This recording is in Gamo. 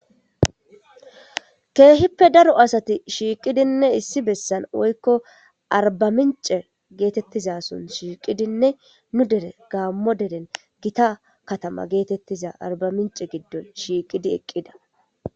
ke'hippe daro asati shiiqidinne issi bessan woykko arbamiince getettizasoon shiiqidinne nu dere gaammo deren gita katama geetettiza arbamince giddon shiiqidi eqqida